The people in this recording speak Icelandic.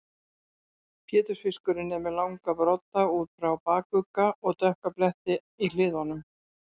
Pétursfiskurinn er með langa brodda út frá bakugga og dökka bletti í hliðunum.